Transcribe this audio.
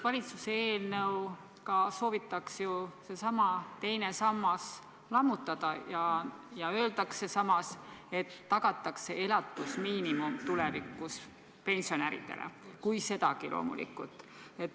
Valitsuse eelnõuga soovitakse seesama teine sammas lammutada ja samas öeldakse, et pensionäridele tagatakse tulevikus elatusmiinimum – kui sedagi, loomulikult.